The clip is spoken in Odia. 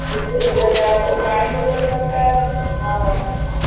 ପାଣି ବୋତଲ ଦରକାର